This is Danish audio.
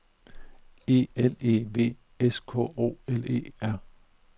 E L E V S K O L E R